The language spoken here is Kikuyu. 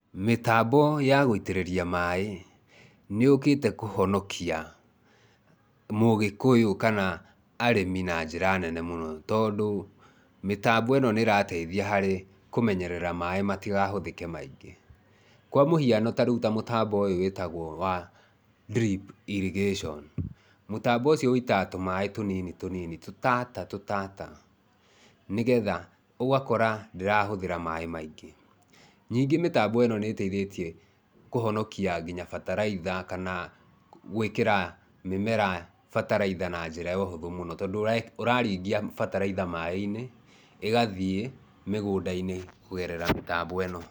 Mĩtambo ya gũitĩrĩria maaĩ nĩ yũkĩte kũhonokia Mũgĩkũyũ kana arĩmi na njĩra nene mũno, tondũ mĩtambo ĩno nĩ ĩrateithia harĩ kũmenyerera maaĩ matigahũthĩke maingĩ. Kwa mũhiano ta rĩu ta mũtambo ũyũ wĩtagwo wa drip irrigation. Mũtambo ucio wũitaga tũmaaĩ tũnini tũnini, tũtata tũtata, nĩgetha ũgakora ndĩrahũthĩra maaĩ maingĩ. Nyingĩ mĩtambo ĩno nĩ ĩteithĩtie kũhonokia nginya bataraitha kana gũĩkĩra mĩmera bataraitha na njĩra ya ũhũthũ mũno, tondũ, ũraringia bataraitha maaĩ-inĩ, ĩgathiĩ mĩgũnda-inĩ kũgerera mĩtambo ĩno.